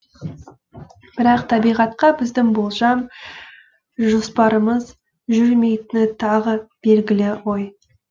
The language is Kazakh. бірақ табиғатқа біздің болжам жоспарымыз жүрмейтіні тағы белгілі ғой